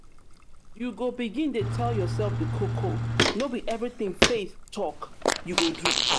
you go begin dey tell yoursef di koko no be everytin faith talk you go do.